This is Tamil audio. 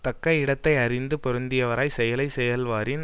தக்க இடத்தை அறிந்து பொருந்தியவராய்ச் செயலை செய்வாராயின்